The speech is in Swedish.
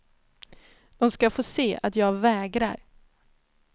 De ska få se att jag vägrar.